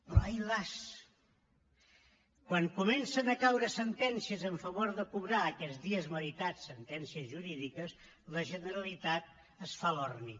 però ai las quan comencen a caure sentències a favor de cobrar aquests dies meritats sentències jurídiques la generalitat es fa l’orni